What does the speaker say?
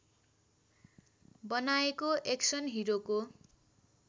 बनाएको एक्सन हिरोको